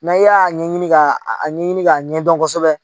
N'a y'a ɲɛɲini ka ɲɛɲini k'a ɲɛdɔn kosɛbɛ